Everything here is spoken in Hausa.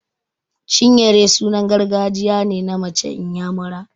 Chinyere sunan gargajiya ne na mace inyamura.